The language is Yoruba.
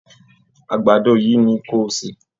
Àgbàdo yìí ni ko sè